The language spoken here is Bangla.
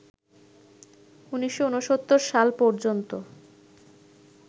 ১৯৬৯ সাল পর্যন্ত